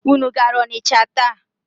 Unu gara Ọnịcha taa?